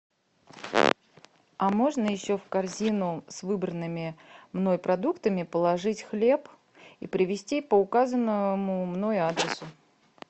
а можно еще в корзину с выбранными мной продуктами положить хлеб и привезти по указанному мной адресу